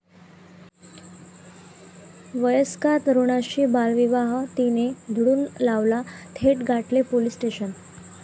वयस्कर तरुणाशी बालविवाह 'ती'ने उधळून लावला, थेट गाठले पोलीस स्टेशन!